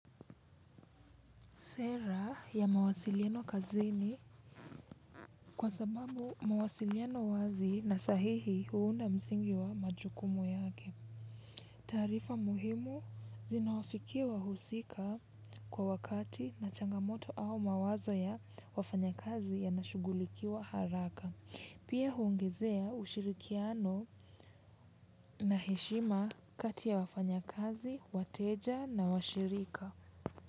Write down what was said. Sera ya mawasiliano kazini kwa sababu mawasiliano wazi na sahihi huunda msingi wa majukumu yake. Taarifa muhimu zinawafikia wahusika kwa wakati na changamoto au mawazo ya wafanyakazi yanashughulikiwa haraka. Pia huongezea ushirikiano na heshima kati ya wafanyakazi, wateja na washirika.